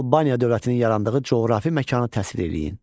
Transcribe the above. Albaniya dövlətinin yarandığı coğrafi məkanı təsvir eləyin.